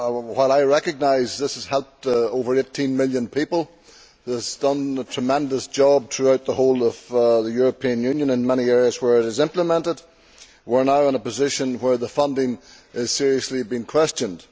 While I recognise this has helped over 18 million people and has done a tremendous job throughout the whole of the European Union in many areas where it is implemented, we are now in a position where the funding is seriously being questioned.